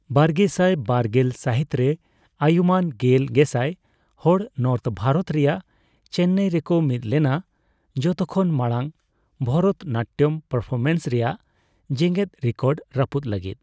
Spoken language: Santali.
ᱵᱟᱨᱜᱮᱥᱟᱭ ᱵᱟᱨᱜᱮᱞ ᱥᱟᱹᱦᱤᱛᱨᱮ, ᱟᱹᱭᱩᱢᱟᱹᱱ ᱜᱮᱞ ᱜᱮᱥᱟᱭ ᱦᱚᱲ ᱱᱚᱨᱛᱷ ᱵᱷᱟᱨᱚᱛ ᱨᱮᱭᱟᱜ ᱪᱮᱱᱱᱟᱭ ᱨᱮᱠᱚ ᱢᱤᱫ ᱞᱮᱱᱟ, ᱡᱷᱚᱛᱚ ᱠᱷᱚᱱ ᱢᱟᱲᱟᱝ ᱵᱷᱚᱨᱚᱛᱱᱟᱴᱴᱚᱢ ᱯᱟᱨᱯᱷᱚᱨᱢᱮᱱᱥ ᱨᱮᱭᱟᱜ ᱡᱮᱜᱮᱫ ᱨᱮᱠᱚᱨᱰ ᱨᱟᱹᱯᱩᱫ ᱞᱟᱹᱜᱤᱫ ᱾